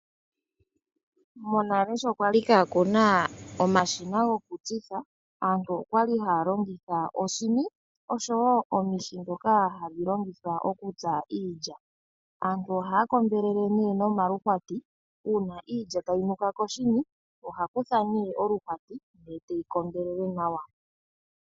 Monale sho kwali kaakuna omashina gokutsitha, aantu oyali haya longitha oshini oshowo omihi ndhoka hadhi longithwa okutsa iilya. Aantu ohaya kombelele nee no maluhwati, uuna iilya tayi nuka koshini oha kutha nee oluhwati eteyi kombelele nawa.